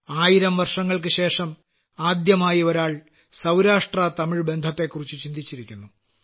ആയിരം വർഷങ്ങൾക്കുശേഷം ആദ്യമായി ഒരാൾ സൌരാഷ്ട്രതമിഴ് ബന്ധത്തെക്കുറിച്ച് ചിന്തിച്ചിരിക്കുന്നു